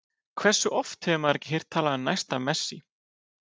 Hversu oft hefur maður ekki heyrt talað um næsta Messi?